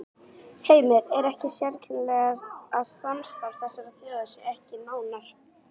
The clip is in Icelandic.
Heimir: Er ekki sérkennilegt að samstarf þessara þjóða sé ekki nánara?